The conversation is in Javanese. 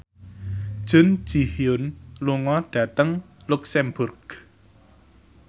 Jun Ji Hyun lunga dhateng luxemburg